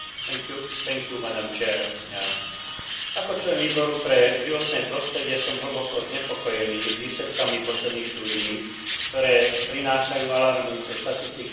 Ako člen Výboru pre životné prostredie som hlboko znepokojený výsledkami posledných štúdií, ktoré prinášajú alarmujúce štatistiky v oblasti straty biodiverzity v Európskej únii.